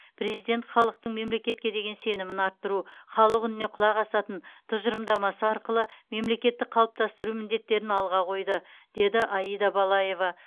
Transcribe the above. президент халықтың мемлекетке деген сенімін арттыру халық үніне құлақ асатын тұжырымдамасы арқылы мемлекетті қалыптастыру міндеттерін алға қойды деді аида балаева